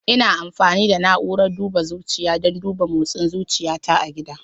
Ina amfani da na'urar duba zuciya don duba motsin zuciyata a gida.